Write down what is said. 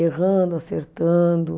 Errando, acertando.